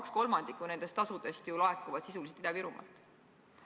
2/3 nendest tasudest ju laekub sisuliselt Ida-Virumaalt.